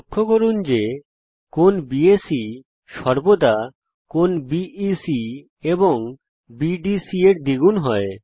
লক্ষ্য করুন যে কোণ বিএসি সর্বদা কোণ বিইসি এবং বিডিসি এর দ্বিগুন হয়